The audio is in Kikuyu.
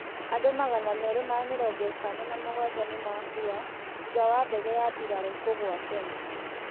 Andũ magana meerĩ ma mĩrongo ĩtano na mũgwanja nimakũa thũtha wa ndege ya bĩrarũ kũgwa Kenya